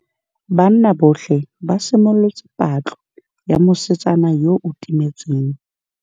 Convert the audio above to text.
Banna botlhê ba simolotse patlô ya mosetsana yo o timetseng.